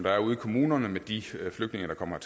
er ude i kommunerne med de flygtninge der kommer